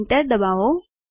enter દબાવો